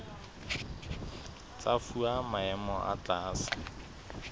tsa fuwa maemo a tlase